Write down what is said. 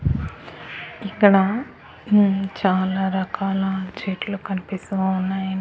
ఇక్కడ ఉమ్ చాలా రకాల చెట్లు కనిపిస్తూ ఉన్నాయి.